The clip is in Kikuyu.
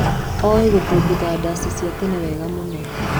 Oĩ gũthũngũtha ndaci cia tene wega mũno.